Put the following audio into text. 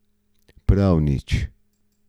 Prav nič.